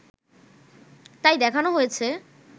তাই দেখানো হয়েছে